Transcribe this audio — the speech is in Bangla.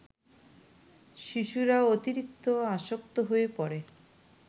শিশুরা অতিরিক্ত আসক্ত হয়ে পড়ে